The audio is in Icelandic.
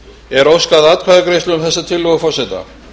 er óskað atkvæðagreiðslu um þessa tillögu forseta